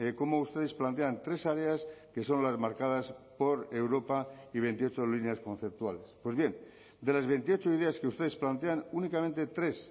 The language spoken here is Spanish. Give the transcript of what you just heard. cómo ustedes plantean tres áreas que son las marcadas por europa y veintiocho líneas conceptuales pues bien de las veintiocho ideas que ustedes plantean únicamente tres